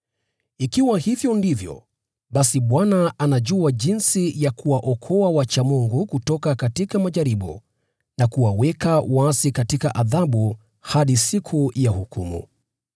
ikiwa hivyo ndivyo, basi Bwana anajua jinsi ya kuwaokoa wamchao Mungu kutoka majaribu, na kuwaweka waasi katika adhabu hadi siku ya hukumu.